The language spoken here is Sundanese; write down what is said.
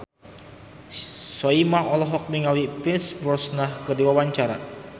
Soimah olohok ningali Pierce Brosnan keur diwawancara